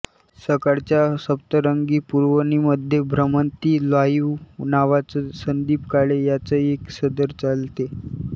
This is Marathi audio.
सकाळच्या सप्तरंग पुरवणीमध्ये भ्रमंती लाईव्ह नावाचं संदीप काळे यांच एक सदर चालते